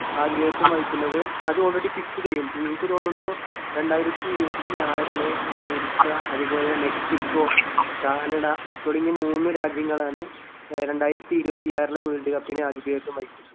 ആതിഥേയത്വം വഹിക്കുന്നത് അത് already fix ചെയ്യും. എനിക്ക് തോന്നുന്നു രണ്ടായിരത്തി ഇരുപത്തിയാറില് അമേരിക്ക അതുപോലെ മെക്സിക്കോ, കാനഡ തുടങ്ങിയ മൂന്ന് രാജ്യങ്ങളാണ് ആഹ് രണ്ടായിരത്തി ഇരുപത്തിയാറിലെ വേൾഡ് കപ്പിന് ആതിഥേയത്വം വഹിക്കുന്നത്.